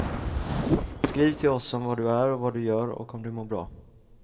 Skriv till oss om var du är och vad du gör och om du mår bra.